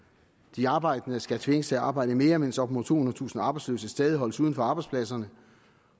de arbejdende skal tvinges til at arbejde mere mens op imod tohundredetusind arbejdsløse stadig holdes uden for arbejdspladserne